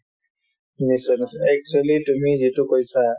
নিশ্চয় নিশ্চয় actually তুমি যিটো কৈছা